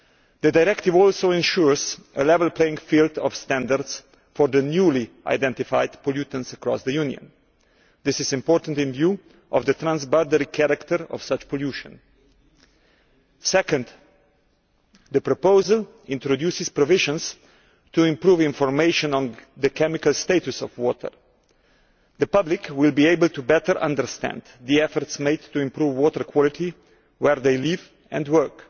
The directive also ensures a level playing field in standards for the newly identified pollutants across the Union. This is important in view of the transboundary character of such pollution. Secondly, the proposal introduces provisions to improve information on the chemical status of water. The public will be better able to understand the efforts made to improve water quality where they live and work.